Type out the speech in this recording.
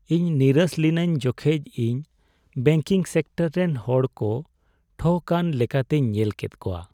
ᱤᱧ ᱱᱤᱨᱟᱹᱥ ᱞᱤᱱᱟᱹᱧ ᱡᱚᱠᱷᱮᱡ ᱤᱧ ᱵᱮᱝᱠᱤᱝ ᱥᱮᱠᱴᱚᱨ ᱨᱮᱱ ᱦᱚᱲ ᱠᱚ ᱴᱷᱚᱠᱼᱟᱱ ᱞᱮᱠᱟᱛᱤᱧ ᱧᱮᱞ ᱞᱮᱫ ᱠᱚᱣᱟ ᱾